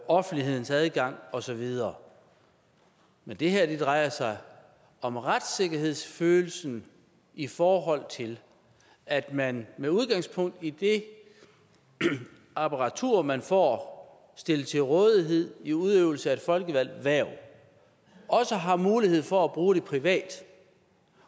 offentlighedens adgang og så videre men det her drejer sig om retssikkerhedsfølelsen i forhold til at man med udgangspunkt i det apparatur man får stillet til rådighed i udøvelsen af et folkevalgt hverv også har mulighed for at bruge det privat